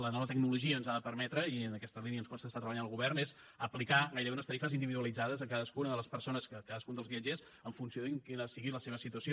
la nova tecnologia el que ens ha de permetre i en aquesta línia ens consta que hi està treballant el govern és aplicar gairebé unes tarifes individualitzades a cadascuna de les persones a cadascun dels viatgers en funció de quina sigui la seva situació